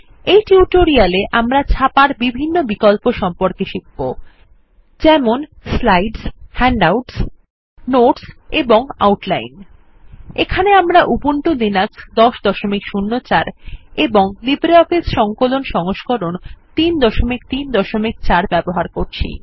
এই টিউটোরিয়ালে আমরা ছাপার বিভিন্ন বিকল্প সম্পর্কে শিখব যেমন স্লাইডস হ্যান্ডআউটস বা বিলিপত্র নোটস এন্ড আউটলাইন এখানে আমরা উবুন্টু লিনাক্স ১০০৪ এবং লিব্রিঅফিস সংকলন সংস্করণ ৩৩৪ ব্যবহার করছি